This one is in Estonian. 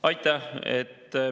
Aitäh!